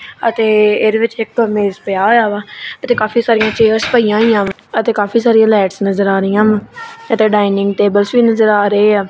ਅਤੇ ਇਹਦੇ ਵਿੱਚ ਇੱਕ ਮੇਜ ਪਿਆ ਹੋਇਆ ਵਾ ਇੱਥੇ ਕਾਫੀ ਸਾਰਿਆਂ ਚੇਅਰਜ਼ ਪਈਆਂ ਹੋਈਆਂ ਵਾਂ ਅਤੇ ਕਾਫੀ ਸਾਰਿਆਂ ਲਾਈਟਸ ਨਜ਼ਰ ਆ ਰਹੀ ਹਨ ਇੱਥੇ ਡਾਈਨਿੰਗ ਟੇਬਲਸ ਵੀ ਨਜ਼ਰ ਆ ਰਹੇ ਆ।